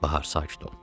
Bahar sakit ol.